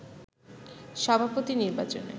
সভাপতি নির্বাচনে